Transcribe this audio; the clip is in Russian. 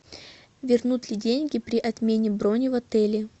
вернут ли деньги при отмене брони в отеле